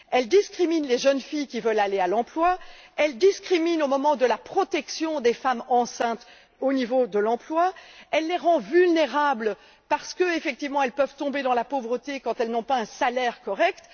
Elle discrimine les jeunes filles qui veulent aller à l'emploi, elle discrimine au moment de la protection des femmes enceintes dans l'emploi, elle les rend vulnérables car elles peuvent tomber dans la pauvreté quand elles n'ont pas un salaire correct.